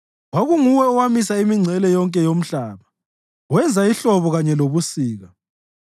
Kwakunguwe owamisa imingcele yonke yomhlaba; wenza ihlobo kanye lobusika.